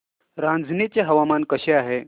रांझणी चे हवामान कसे आहे